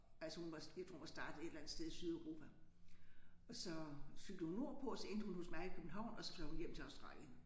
Altså hun var sådan lidt hun var startet et eller andet sted i Sydeuropa. Og så cyklede hun nordpå og så endte hun hos mig i København og så fløj hun hjem til Australien